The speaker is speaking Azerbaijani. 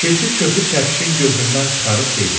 Keçi çöpü çəpişin gözündən çıxarıb dedi: